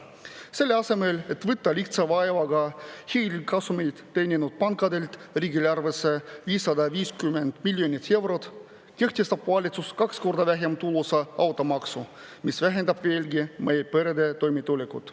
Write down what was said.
Selle asemel, et võtta lihtsa vaevaga hiigelkasumeid teeninud pankadelt riigieelarvesse 550 miljonit eurot, kehtestab valitsus kaks korda vähem tulusa automaksu, mis vähendab veelgi meie perede toimetulekut.